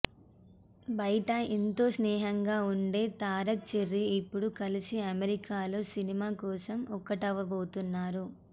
బయట ఎంతో స్నేహంగా ఉండే తారక్ చెర్రీ ఇప్పుడు కలిసి అమెరికాలో సినిమా కోసం ఒకటవ్వబోతున్నారు